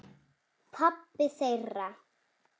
Pabbi þeirra?